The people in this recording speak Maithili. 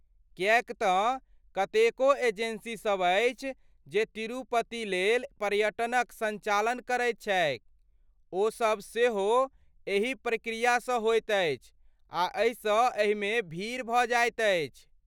किएक तँ कतेको एजेंसीसभ अछि जे तिरुपतिलेल पर्यटनक सञ्चालन करैती छैक, ओ सभ सेहो एही प्रक्रियासँ होइत अछि, आ एहिसँ एहि मेँ भीड़ भऽ जाइत अछि।